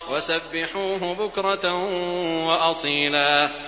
وَسَبِّحُوهُ بُكْرَةً وَأَصِيلًا